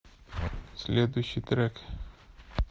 следующий трек